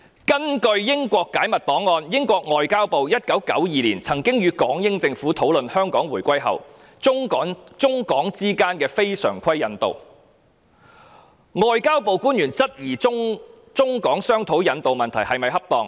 根據英國解密檔案，英國外交部於1992年曾與港英政府討論香港回歸後，中港之間的非常規引渡安排，外交部官員當時質疑中港商討引渡問題是否恰當。